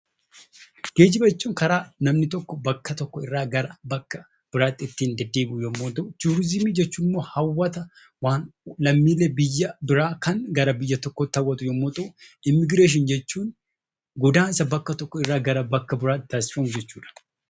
Geejjiba jechuun karaa namni tokko irraa gara bakka biraatti ittiin deddeebi'u yommuu ta'u; Turiizimii jechuun immoo hawwataa waan lammiilee biyya biraa kan gara biyya tokkootti hawwatu yommuu ta'u; Immigireeshinii jechuun godaansa bakka tookko irraa gara bakla biraatti taasifamu jechuu dha.